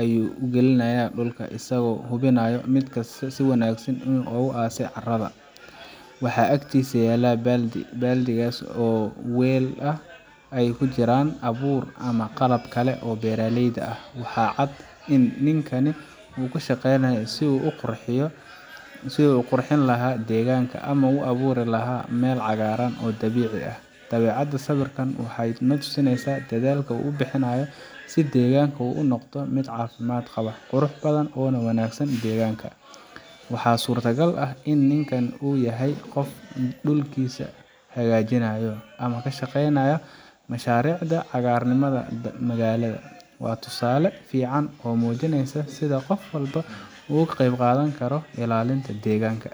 ayu u galinaya dulka asago hubinayo midkasta si wanagsan dul ugu aasay caratha waxa agtisa yala baldi, baldigas oo weel aah aykijiran abuur amah qalabkali oo beraleyda aah, waxa caadi in ninkani oo kasheynayo si oo uvqurxiyoh sibubqorxenlahay deganka amah u abuurilahay meel cagaran oo dabeca aah dabeacada sawirkan waxa hada natusineysah dathalka oo u bixinayo sibdeganga oo u noqdoh, midcafimada Qabah quruxbathan oo wanagsan tan deganaka, waxa surtalkal aah in ninkan oo yahay Qoof dulkisa hagajinayo amah kashaqeynayo masharicda cagarnimatha magalada wa tusaali fican oo mujineysoh setha Qoof walbaa oo kaqebqathani karoh ilalinta deganka .